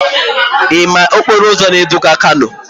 Ị ma okporo ụzọ na-eduga kano?